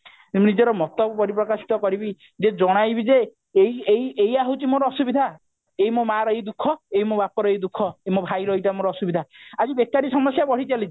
ନିଜର ମତକୁ ପରି ପ୍ରକାଶିତ କରିବି ଯେ ଜଣାଇବି ଯେ ଏଇ ଏଇ ଏଇୟା ହଉଛି ମୋ ଅସୁବିଧା ଏଇ ମୋ ମାର ଏଇ ଦୁଃଖ ଏଇ ମୋ ବାପାର ଏଇ ଦୁଃଖ ଏଇ ମୋ ଭାଇର ଏଇଟା ମୋ ଅସୁବିଧା ଆଜି ବେକାରି ସମସ୍ଯା ବଢି ଚାଲିଛି